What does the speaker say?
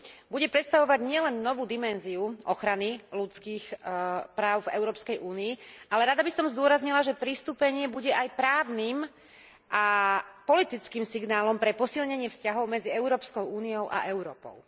bude predstavovať nielen novú dimenziu ochrany ľudských práv v Európskej únii, ale rada by som zdôraznila, že pristúpenie bude aj právnym a politickým signálom pre posilnenie vzťahov medzi Európskou úniu a Európou.